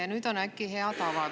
Ja nüüd äkki on hea tava!?